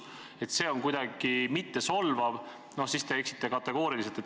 Kui te arvate, et see on kuidagi mittesolvav, siis te eksite kõvasti.